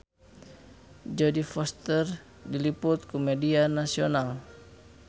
Jodie Foster diliput ku media nasional